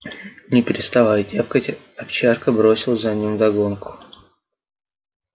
не переставая тявкать овчарка бросила за ним вдогонку